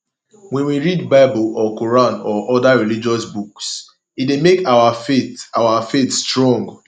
when we read bible or quran or oda religious books e dey make our faith our faith strong